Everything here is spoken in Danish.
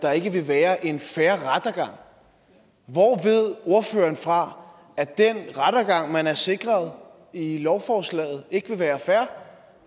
der ikke vil være en fair rettergang hvor ved ordføreren fra at den rettergang man er sikret i lovforslaget ikke vil være fair